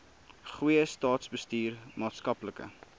goeie staatsbestuur maatskaplike